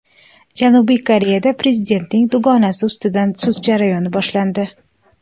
Janubiy Koreyada prezidentning dugonasi ustidan sud jarayoni boshlandi.